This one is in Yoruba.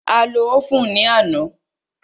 A lo óvùn ní àná.